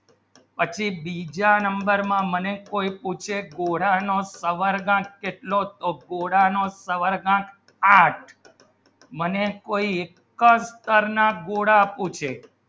બીજા નંબરમાં મને કોઈ પૂછે કોડાનો સવર્ગ આંક કેટલો ગોળાનો સવર્ગાંક આઠ મને કોઈ કરના ગોળા પૂછે